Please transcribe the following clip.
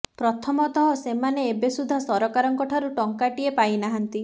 ପ୍ରଥମତଃ ସେମାନେ ଏବେ ସୁଦ୍ଧା ସରକାରଙ୍କ ଠାରୁ ଟଙ୍କାଟିଏ ପାଇନାହାନ୍ତି